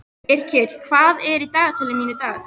Yrkill, hvað er í dagatalinu mínu í dag?